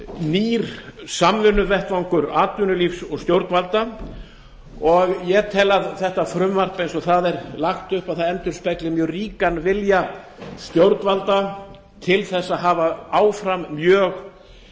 nýr samvinnuvettvangur atvinnulífs og stjórnvalda ég tel að þetta frumvarp eins og það er lagt upp endurspegli mjög ríkan vilja stjórnvalda til að hafa áfram mjög